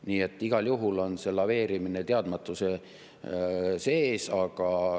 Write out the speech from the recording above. Nii et igal juhul on see teadmatuses laveerimine.